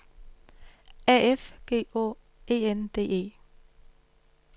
A F G Å E N D E